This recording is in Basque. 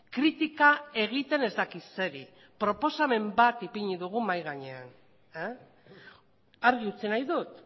kritika egiten ez dakit zeri proposamen bat ipini dugu mahai gainean argi utzi nahi dut